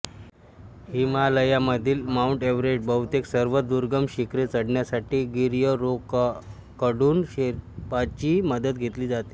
हिमालयामधील Mount एव्हरेस्टसह बहुतेक सर्व दुर्गम शिखरे चढण्यासाठी गिर्यरोहकांकडून शेर्पांची मदत घेतली जाते